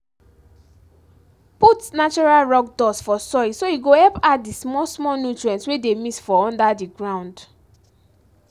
put natural rock dust for soil so e go help add the small-small nutrients wey dey miss for under the ground